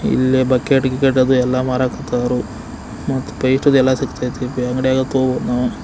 ಇಲ್ಲಿ ಬಕೆಟ್ ಕಿಕ್ ಎಲ್ಲ ಮಾರಕತಾವು ಮತ್ತೆ ಪೈಪ್ ಇದೆಲ್ಲ ಸಿಕ್ಕವು ಅಂಗಡಿಯಲ್ಲಿ ತಗೋಬಹುದು. ನಾವು--